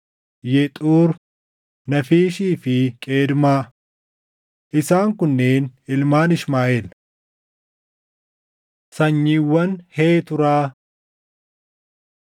Yexuur, Naafiishii fi Qeedmaa. Isaan kunneen ilmaan Ishmaaʼeel. Sanyiiwwan Heeturaa 1:32‑33 kwf – Uma 25:1‑4